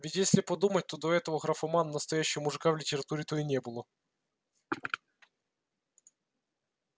ведь если подумать то до этого графомана настоящего мужика в литературе-то и не было